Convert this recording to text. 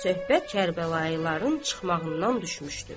Söhbət Kərbəlayıların çıxmağından düşmüşdü.